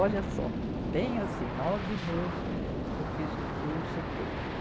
Olha só, bem assim, nove meses eu fiz o curso, tudo.